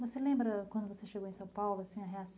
Você lembra, quando você chegou em São Paulo assim, a